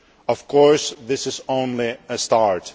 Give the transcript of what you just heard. Of course, this is only a start.